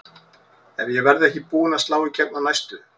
Ef ég verð ekki búin að slá í gegn á næstu